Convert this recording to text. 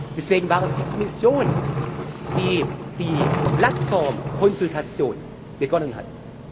Deswegen war es die Kommission, die die Plattformkonsultation begonnen